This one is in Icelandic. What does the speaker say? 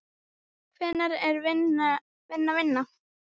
Hvenær er vinna vinna?